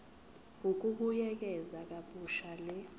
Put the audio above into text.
ukubuyekeza kabusha le